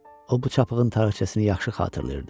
O bu çapığın tarixcəsini yaxşı xatırlayırdı.